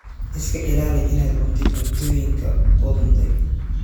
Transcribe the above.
Iska ilaali inaad cuntid cuntooyinka qudhuntay.